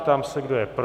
Ptám se, kdo je pro.